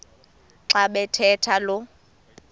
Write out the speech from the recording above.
xa bathetha lo